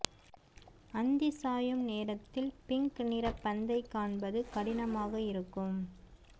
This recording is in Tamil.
அந்தி சாயும் நேரத்தில் பிங்க் நிற பந்தை காண்பது கடினமாக இருக்கும்